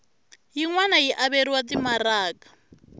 yin wana yi averiwa timaraka